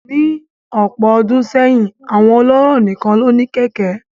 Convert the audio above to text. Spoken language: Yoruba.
Ní ọ̀pọ̀ ọdún sẹ́yìn, àwọn ọlọ́rọ̀ nìkan ló ní kẹ̀kẹ́